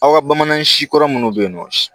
Aw ka bamanan si kɔrɔ minnu bɛ yen nɔ